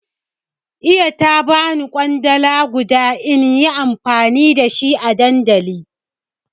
Iya ta bani kwandala guda inyi amfani da shi a dandali